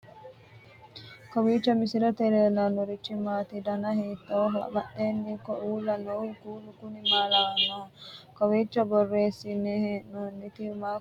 kowiicho misilete leellanorichi maati ? dana hiittooho ?abadhhenni ikko uulla noohu kuulu kuni maa lawannoho? kowiicho borreessine hee'noonnihu maa kulannoho egenshshiishhu